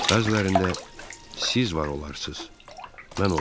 Bəzilərində siz var olarsız, mən olmaram.